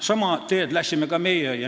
Sama teed läksime ka meie.